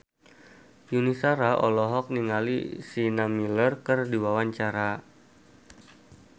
Yuni Shara olohok ningali Sienna Miller keur diwawancara